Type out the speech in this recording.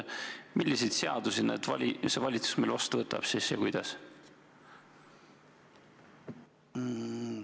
Milliseid seadusi see valitsus meil siis vastu võtab ja kuidas?